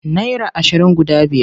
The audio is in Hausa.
Naira ashirin guda biyar.